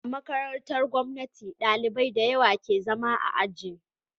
A makarantar gomnati ɗalibai dayawa ke zama a aji